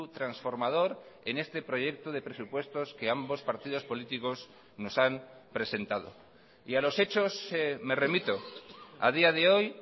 transformador en este proyecto de presupuestos que ambos partidos políticos nos han presentado y a los hechos me remito a día de hoy